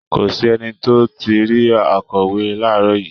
Kò sí ẹni tó ti rí akọ̀wé láàárọ̀ yìí